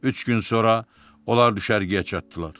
Üç gün sonra onlar düşərgəyə çatdılar.